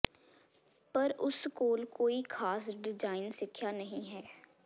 ਪਰ ਉਸ ਕੋਲ ਕੋਈ ਖਾਸ ਡਿਜ਼ਾਇਨ ਸਿੱਖਿਆ ਨਹੀਂ ਹੈ